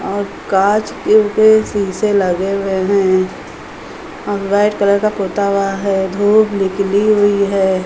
और कांच के शीशे लगे हुए हैं और वाइट् कलर का पुता हुआ है। धूप निकली हुई है।